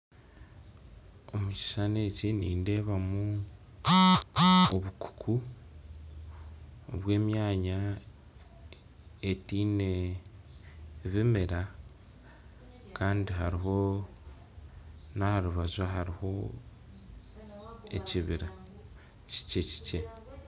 Omukishishani eki nindeebamu obukuku bw'emyanya etaine bimera kandi hariho na aharubaju ahariho ekibira kikye.